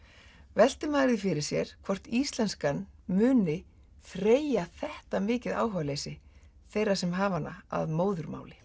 veltir maður því fyrir sér hvort íslenskan muni þreyja þetta mikið áhugaleysi þeirra sem hafa hana að móðurmáli